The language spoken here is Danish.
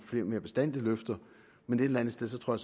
mere bastante løfter men et eller andet sted tror